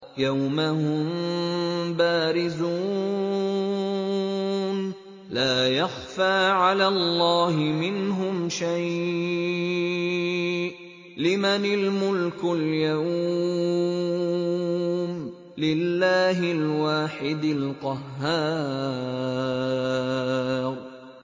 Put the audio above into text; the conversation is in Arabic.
يَوْمَ هُم بَارِزُونَ ۖ لَا يَخْفَىٰ عَلَى اللَّهِ مِنْهُمْ شَيْءٌ ۚ لِّمَنِ الْمُلْكُ الْيَوْمَ ۖ لِلَّهِ الْوَاحِدِ الْقَهَّارِ